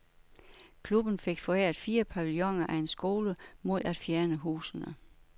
Klubben fik foræret fire pavilloner af en skole, mod at fjerne husene.